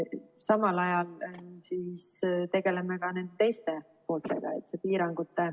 Samal ajal tegeleme ka nende teiste pooltega.